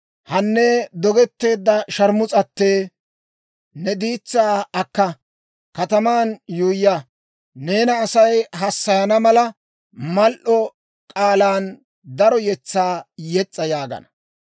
«Hanne, dogetteedda shaarmus'ate, ne diitsaa akka; kataman yuuyya. Neena Asay hassayana mala, mal"o k'aalan daro yetsaa yes's'a» yaagana.